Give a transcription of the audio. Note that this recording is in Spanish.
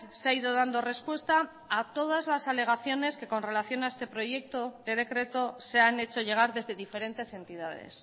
se ha ido dando respuesta a todas las alegaciones que con relación a este proyecto de decreto se han hecho llegar desde diferentes entidades